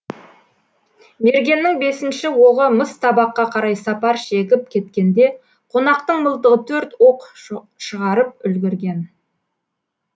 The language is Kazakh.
мергеннің бесінші оғы мыс табаққа қарай сапар шегіп кеткенде қонақтың мылтығы төрт оқ шығарып үлгірген